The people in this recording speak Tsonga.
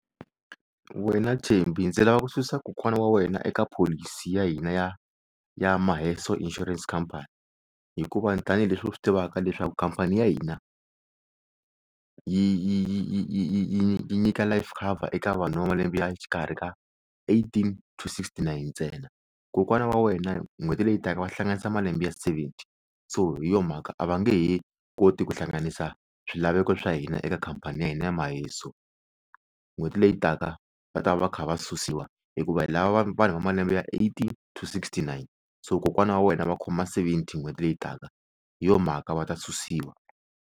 Wena Thembi ndzi lava ku susa kokwana wa wena eka pholisi ya hina ya ya Maheso Insurance Company hikuva tanihileswi u swi tivaka leswaku khampani ya hina yi yi yi yi nyika life cover eka vanhu va malembe ya xikarhi ka eighteen to sixty nine ntsena kokwana wa wena hi n'hweti leyi taka va hlanganisa malembe ya seventy so hi yo mhaka a va nge he koti ku hlanganisa swilaveko swa hina eka khampani ya hina ya Maheso n'hweti leyi taka va ta va kha va susiwa hikuva hi lava va vanhu va malembe ya to sixty nine so kokwana wa wena va khoma seventy n'hweti leyi taka hi yo mhaka va ta susiwa.